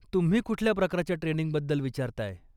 तुम्ही कुठल्या प्रकारच्या ट्रेनिंगबद्दल विचारताय.